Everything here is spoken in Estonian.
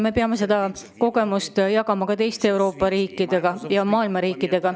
Me peame seda kogemust jagama teiste Euroopa ja maailma riikidega.